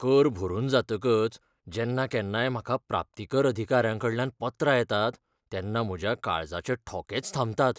कर भरून जातकच जेन्ना केन्नाय म्हाका प्राप्तीकर अधिकाऱ्यांकडल्यान पत्रां येतात तेन्ना म्हज्या काळजाचे ठोकेच थांबतात.